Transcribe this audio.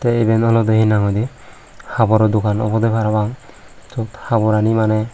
tey iben olodey hinahoidey haboro dogan obodey parapang siyot haborani maneh.